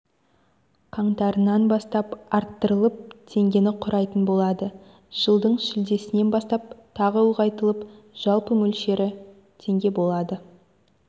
қаңтарынан бастап арттырылып теңгені құрайтын болады жылдың шілдесінен бастап тағы ұлғайтылып жалпы мөлшері теңге болады